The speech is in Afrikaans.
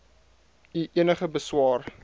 u enige beswaar